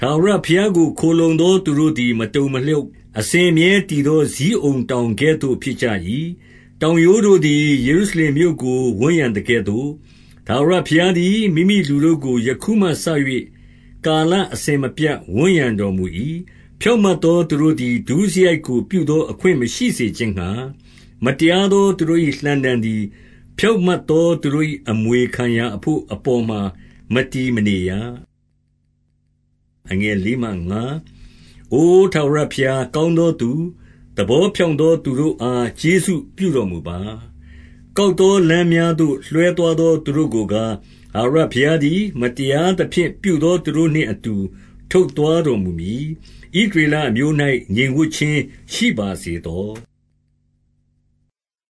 ထာဝရဘုရားကို ခိုလှုံသော သူတို့သည် မတုန် မလှုပ်၊ အစဉ်အမြဲတည်သော ဇိအုန်တောင်ကဲ့သို့ ဖြစ်ကြ ၏။ 2 တောင်ရိုးတို့သည် ယေရုရှလင်မြို့ကို ဝန်းရံ သကဲ့သို့၊ ထာဝရဘုရားသည် မိမိလူတို့ကို ယခုမှစ၍၊ ကာလအစဉ်မပြတ်ဝန်းရံတော်မူ၏။ 3 ဖြောင့်မတ်သော သူတို့သည် ဒုစရိုက်ကို ပြုသော အခွင့်မရှိစေခြင်းငှါ၊ မတရားသောသူတို့၏ လှံတံသည် ဖြောင့်မတ်သော သူတို့၏ အမွေခံရာအဘို့အပေါ်မှာ မတည်မနေရ။ 4 အိုထာဝရဘုရား၊ ကောင်းသောသူ၊ သဘော ဖြောင့်သော သူတို့အား ကျေးဇူးပြုတော်မူပါ။ 5 ကောက်သောလမ်းများသို့ လွှဲသွားသော သူတို့ ကိုကား၊ ထာဝရဘုရားသည် မတရားသဖြင့်ပြုသော သူတို့နှင့်အတူ ထုတ်သွားတော်မူမည်။ ဣသရေလအမျိုး ၌ ငြိမ်ဝပ်ခြင်း ရှိပါစေသော။